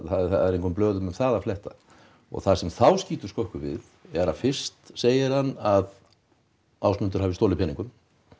það er engum blöðum um það að fletta og það sem þá skýtur skökku við er að fyrst segir hann að Ásmundur hafi stolið peningum